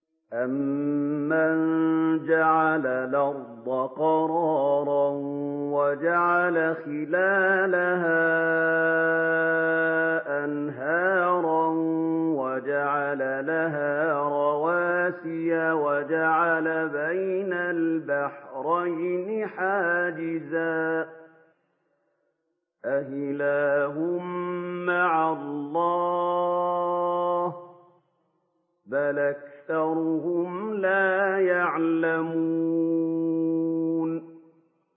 أَمَّن جَعَلَ الْأَرْضَ قَرَارًا وَجَعَلَ خِلَالَهَا أَنْهَارًا وَجَعَلَ لَهَا رَوَاسِيَ وَجَعَلَ بَيْنَ الْبَحْرَيْنِ حَاجِزًا ۗ أَإِلَٰهٌ مَّعَ اللَّهِ ۚ بَلْ أَكْثَرُهُمْ لَا يَعْلَمُونَ